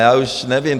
Já už nevím.